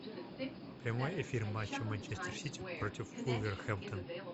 прямой эфир матча манчестер сити против вулверхэмптон